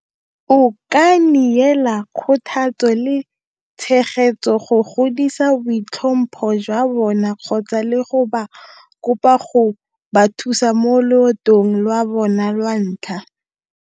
O ka neela kgothatso le tshegetso go godisa boitlhompho jwa bona kgotsa le go ba kopa go ba thusa loetong lwa bona lwa ntlha.